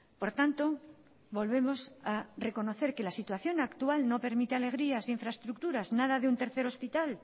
por tanto volvemos a reconocer que la situación actual no permite alegrías ni infraestructuras nada de un tercer hospital